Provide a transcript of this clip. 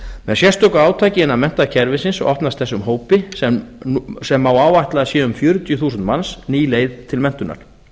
með sérstöku átaki innan menntakerfisins opnast þessum hópi sem má áætla að í séu um fjörutíu þúsund manns ný leið til menntunar